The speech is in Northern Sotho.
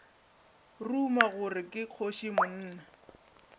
ruma gore ke kgoši monna